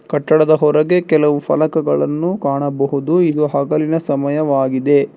ಕಟ್ಟಡದ ಹೊರಗೆ ಕೆಲವು ಫಲಕಗಳನ್ನು ಕಾಣಬಹುದು ಇದು ಹಗಲಿನ ಸಮಯವಾಗಿದೆ.